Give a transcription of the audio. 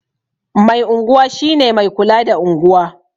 Mai unguwa shi ne mai kula da unguwa